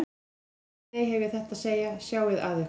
En áður en ég dey hef ég þetta að segja: Sjáið að ykkur.